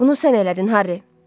Bunu sən elədin, Harri.